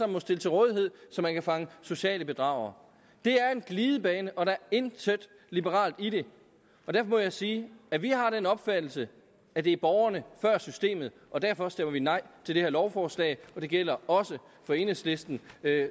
må stille til rådighed så man kan fange sociale bedragere det er en glidebane og der er intet liberalt i det og derfor må jeg sige at vi har den opfattelse at det er borgerne før systemet og derfor stemmer vi nej til det her lovforslag og det gælder også for enhedslisten